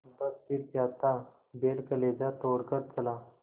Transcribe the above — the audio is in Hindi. बस फिर क्या था बैल कलेजा तोड़ कर चला